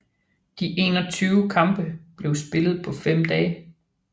De 21 kampe blev spillet på fem dage